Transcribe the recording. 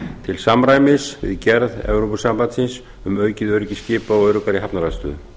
til samræmis við gerð evrópusambandsins um aukið öryggi skipa og öruggari hafnaraðstöðu